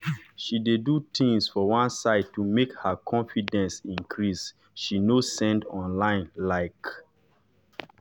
she dey do tins for one side to make her confidence increase she nor send online like.